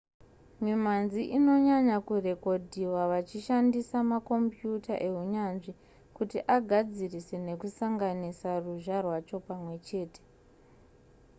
mimhanzi inonyanya kurekodhiwa vachishandisa makombiyuta ehunyanzvi kuti agadzirise nekusanganisa ruzha rwacho pamwe chete